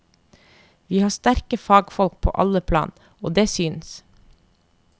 Vi har sterkere fagfolk på alle plan, og det syns.